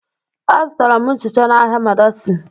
Azụtara m nchicha n'ahịa madaci.